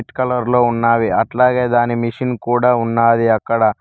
White colour లో ఉన్నవి అట్లాగే దాని మిషన్ కూడా ఉన్నది అక్కడ.